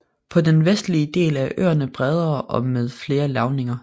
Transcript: På den vestlige del er øen bredere og med flere lavninger